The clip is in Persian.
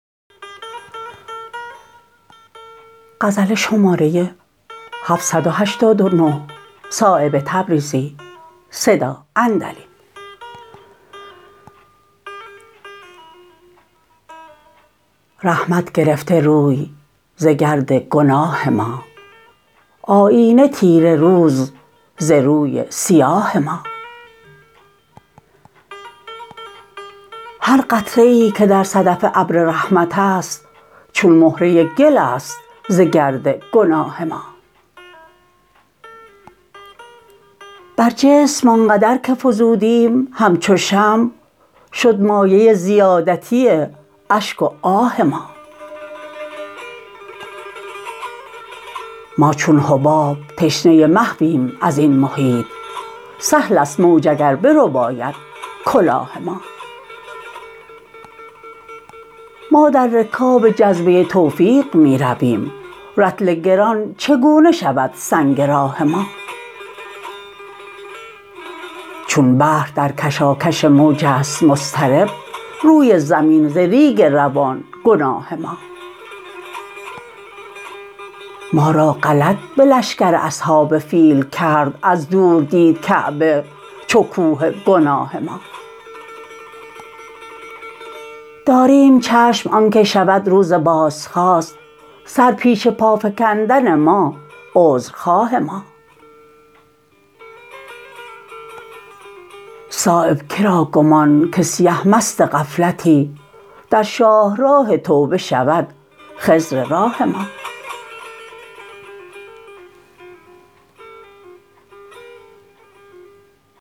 رحمت گرفته روی ز گرد گناه ما آیینه تیره روز ز روی سیاه ما هر قطره ای که در صدف ابر رحمت است چون مهره گل است ز گرد گناه ما بر جسم آنقدر که فزودیم همچو شمع شد مایه زیادتی اشک و آه ما ما چون حباب تشنه محویم ازین محیط سهل است موج اگر برباید کلاه ما ما در رکاب جذبه توفیق می رویم رطل گران چگونه شود سنگ راه ما چون بحر در کشاکش موج است مضطرب روی زمین ز ریگ روان گناه ما ما را غلط به لشکر اصحاب فیل کرد از دور دید کعبه چو کوه گناه ما داریم چشم آن که شود روز بازخواست سر پیش پا فکندن ما عذر خواه ما صایب که را گمان که سیه مست غفلتی در شاهراه توبه شود خضر راه ما